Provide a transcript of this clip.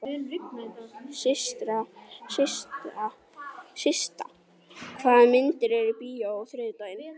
Systa, hvaða myndir eru í bíó á þriðjudaginn?